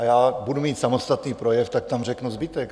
A já budu mít samostatný projev, tak tam řeknu zbytek.